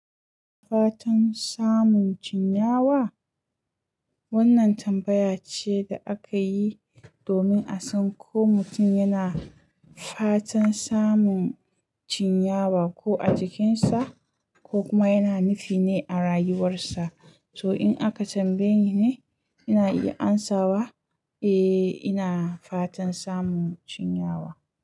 Fatan samun chinyawa? Wannan tambaya ce da aka yi domin a san ko mutum yana fatan samun chinyawa ko a jikinsa ko kuma yana nufine a rayuwarsa. To in aka tambaye ni ne, ina iya amsawa eh ina fatan samun chinyawa.